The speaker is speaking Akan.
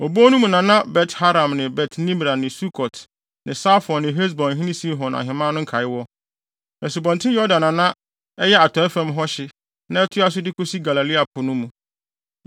Obon no mu na na Bet-Haram ne Bet-Nimra ne Sukot ne Safon ne Hesbonhene Sihon ahemman no nkae wɔ; Asubɔnten Yordan na na ɛyɛ atɔe fam hɔ hye na ɛtoa so de kosi Galilea po no mu.